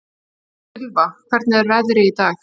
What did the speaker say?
Silfa, hvernig er veðrið í dag?